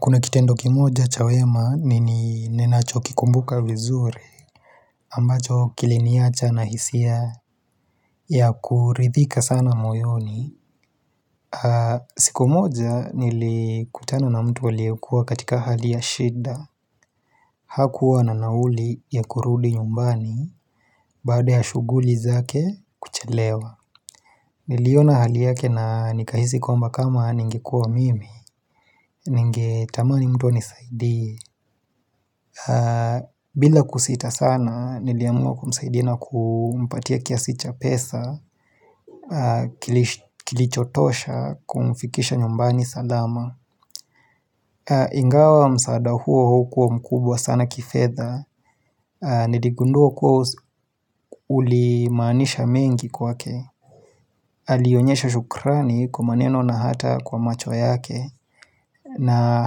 Kuna kitendo kimoja cha wema nini ninacho kikumbuka vizuri ambacho kiliniacha na hisia ya kuridhika sana moyoni. Siku moja nilikutana na mtu aliyekuwa katika hali ya shida. Hakuwa na nauli ya kurudi nyumbani baada ya shuguli zake kuchelewa. Niliona hali yake na nikahisi kwamba kama ningekuwa mimi ningetamani mtu anisaidie. Bila kusita sana niliamua kumsaidia na kumpatia kiasi cha pesa Kilichotosha kumfikisha nyumbani salama Ingawa msaada huo haukuwa mkubwa sana kifedha Niligundua kuwa ulimaanisha mengi kwake Alionyesha shukrani kwa maneno na hata kwa macho yake na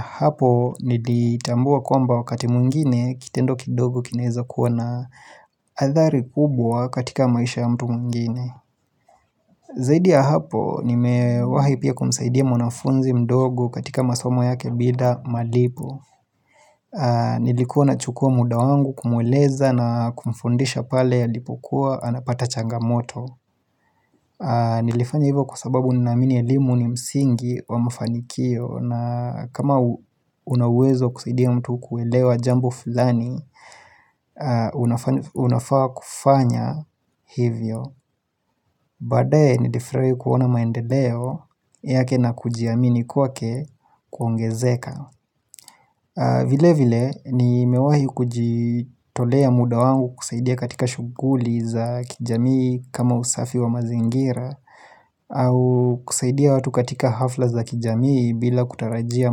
hapo nilitambua kwamba wakati mwingine Kitendo kidogo kinaeza kuwa na adhari kubwa katika maisha ya mtu mwingine Zaidi ya hapo nime wahi pia kumsaidia mwanafunzi mdogo katika masomo yake bila malipo Nilikuwa na chukua muda wangu kumweleza na kumfundisha pale alipokuwa anapata changamoto Nilifanya hivyo kwa sababu ninaamini elimu ni msingi wa mafanikio na kama unauwezo kusaidia mtu kuelewa jambo fulani unafaa kufanya hivyo Badae nilifurahi kuona maendeleo yake na kujiamini kwa ke kuongezeka vile vile ni mewahi kujitolea muda wangu kusaidia katika shuguli za kijamii kama usafi wa mazingira au kusaidia watu katika hafla za kijamii bila kutarajia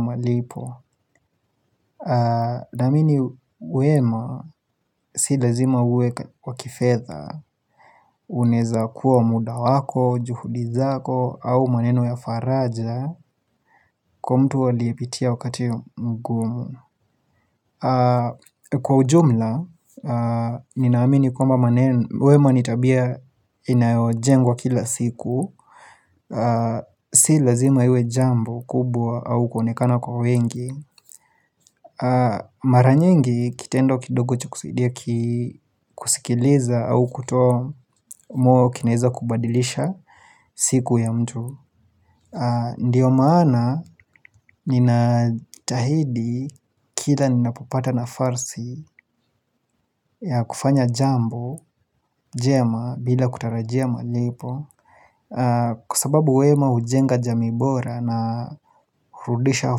malipo Namini wema si lazima uwe wakifedha Unaeza kuwa muda wako, juhudi zako au maneno ya faraja Kwa mtu aliyepitia wakati mgumu Kwa ujumla, ninaamini kwamba wema nitabia inayojengwa kila siku Si lazima iwe jambo kubwa au kuonekana kwa wengi Mara nyingi kitendo kidogo cha kusaidia kusikiliza au kuto mwo kinaeza kubadilisha siku ya mtu Ndiyo maana ninatahidi kila ninapopata na farsi ya kufanya jambo jema bila kutarajia malipo Kwa sababu wema hujenga jamii bora na hurudisha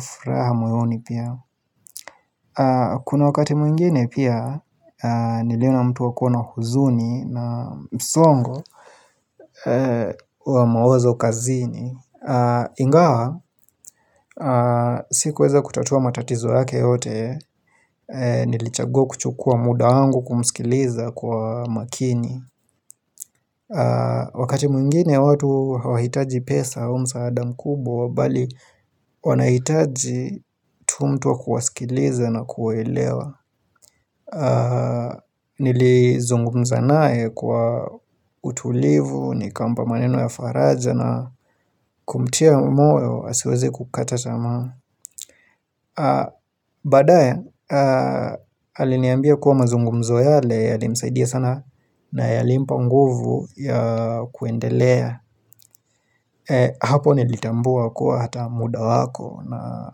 furaha moyoni pia Kuna wakati mwingine pia niliona mtu wakona huzuni na msongo wa mawazo kazini Ingawa, sikuweza kutatua matatizo yake yote, nilichagua kuchukua muda wangu kumskiliza kwa makini Wakati mwingine watu hawahitaji pesa au msaada mkubwa bali wanahitaji tu mtu wa kuwasikiliza na kuwaelewa Nilizungumza naye kwa utulivu nikampa maneno ya faraja na kumtia moyo asiweze kukata tamaa Badae aliniambia kuwa mazungumzo yale yalimsaidia sana na yalimpa nguvu ya kuendelea Hapo nilitambua kuwa hata muda wako na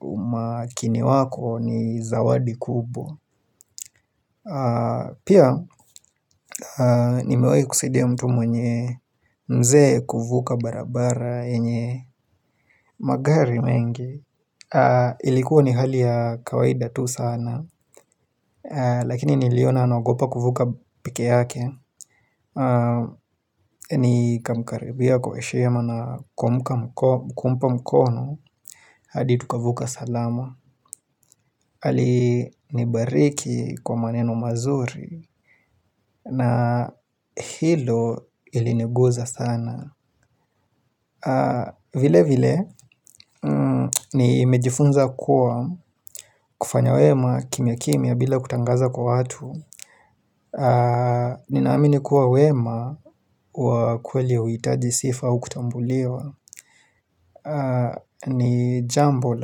umakini wako ni zawadi kubwa Pia nimewai kusidia mtu mwenye mzee kuvuka barabara enye magari mengi Ilikuwa ni hali ya kawaida tu sana Lakini niliona anaogopa kuvuka peke yake Nikamkaribia kwa heshima na kumpa mkono hadi tukavuka salama Ali nibariki kwa maneno mazuri na hilo iliniguza sana vile vile Nimejifunza kuwa kufanya wema kimya kimya bila kutangaza kwa watu Ninaamini kuwa wema wa kweli hauitaji sifa au kutambuliwa ni jambo la.